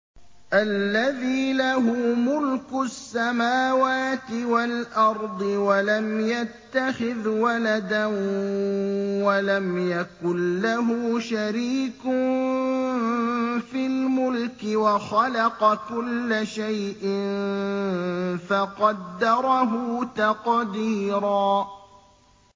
الَّذِي لَهُ مُلْكُ السَّمَاوَاتِ وَالْأَرْضِ وَلَمْ يَتَّخِذْ وَلَدًا وَلَمْ يَكُن لَّهُ شَرِيكٌ فِي الْمُلْكِ وَخَلَقَ كُلَّ شَيْءٍ فَقَدَّرَهُ تَقْدِيرًا